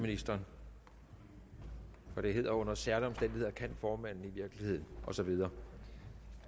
ministeren for det hedder at under særlige omstændigheder kan formanden i virkeligheden og så videre